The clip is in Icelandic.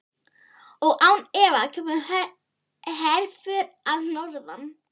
Og án efa kemur herför að norðan.